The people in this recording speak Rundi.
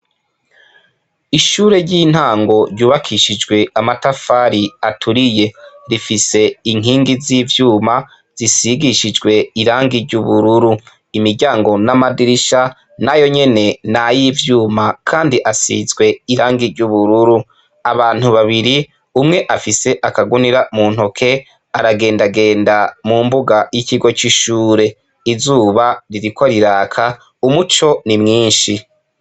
ishure ry' intango ryubakishijw'amatafar'aturiye rifis' inkingi z'ivyuma zisigishijw' irangi ry' ubururu, imiryango n' amadirisha nayo nyene nay' ivyuma kand' asizw' irangi ry'ubururu, abantu babiri, umw ' afis' akagunira muntoki, aragendagenda mu mbuga y'ikigo c' ishuri, izuba ririko rirak' umuco ni mwinshi.